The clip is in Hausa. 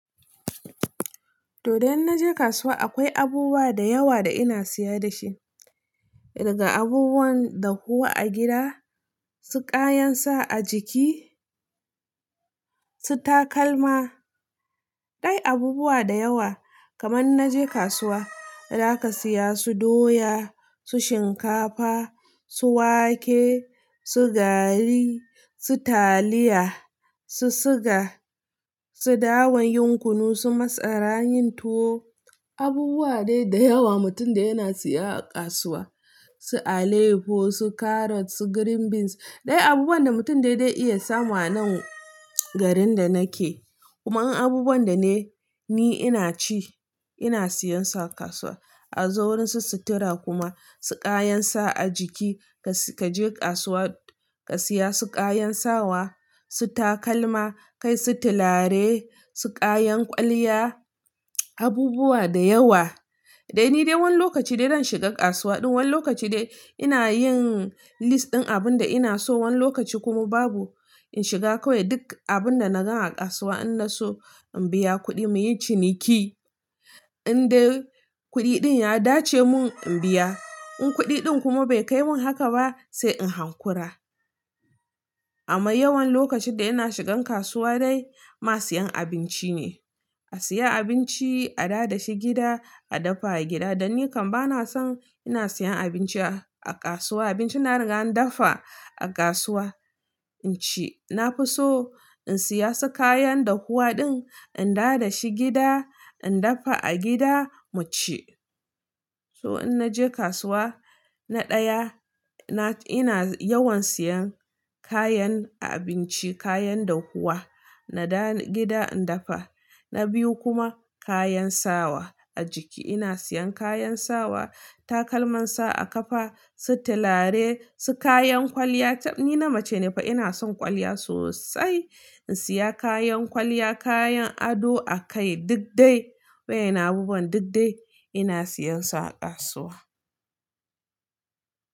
To dai inna je kasuwa akwai abubuwa da yawa da ina siya da shi, daga abubuwan dahuwa a gida, su ƙayan sa a jiki, su takalma. Ɗai abubuwa da yawa kaman na je kasuwa, za ka siya su doya, su shinkafa, su wake, su gari, su taliya, su siga, su dawan yin kunu, su masarar yin tuwo. Abubuwa dai da yawa mutum da yana siya a kasuwa, su alefo, su carrot, su green beans dai abubuwan da mutum dai-dai iya samu a nan garin da nake. Kuma in abubuwan da ne ni ina ci ina siyan su a kasuwa. A zo wurin su sutura kuma, su kayan sa a jiki ka je kasuwa ka siya su kayan sawa, su takalma, sai su tilare, su kayan kwalliya abubuwa da yawa. Dai ni dai wani lokaci dai zan shiga kasuwa, ɗin wani lokaci dai ina yin lis ɗin abun da ina so, wani lokaci kuma babu in shiga kawai duk abun da na gan a kasuwa in na so in biya kuɗi muyi ciniki. In dai kuɗi ɗin ya dace mun in biya, in kuɗi ɗin kuma bai kai mun haka ba sai in hankura. Amma yawan lokacin da ina shigan kasuwa dai ma siyan abinci ne. A siya abinci a dawo da shi gida, a dafa a gida. Dan ni kam bana son ina siyan abinci a-a kasuwa, abinci da an riga an dafa a kasuwa, in ci. Na fi so in siya su kayan dahuwa ɗin, in dada shi gida, in dafa a gida mu ci. So in na je kasuwa, na ɗaya ina yawan siyan kayan a-abinci, kayan dahuwa na dawo gida in dafa. Na biyu kuma kayan sawa a jiki ina siyan kayan sawa, takalman sa a kafa, su tilare, su kayan kwalliya. Ni na mace ne fa ina son kwalliya sosai, in siya kayan kwalliya, kayan ado a kai duk dai. Wayanan abubuwan duk dai ina siyan su a kasuwa.